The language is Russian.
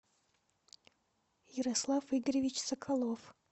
ярослав игоревич соколов